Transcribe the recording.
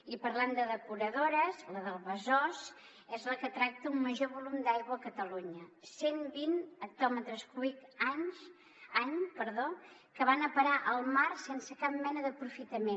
i parlant de depuradores la del besòs és la que tracta un major volum d’aigua a catalunya cent vint hectòmetres cúbics any que van a parar al mar sense cap mena d’aprofitament